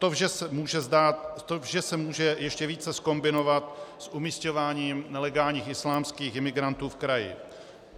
To vše se může ještě více zkombinovat s umisťováním nelegálních islámských imigrantů v kraji.